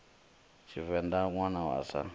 tshivenḓa ṋwana a si wa